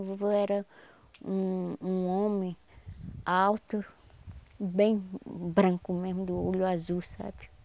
O vovô era um um homem alto, bem branco mesmo, do olho azul, sabe?